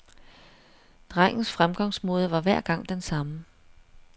Drengens fremgangsmåde var hver gang den samme.